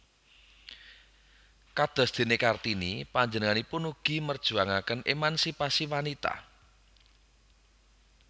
Kadosdéné Kartini panjenenganipun ugi merjuangaken émansipasi wanita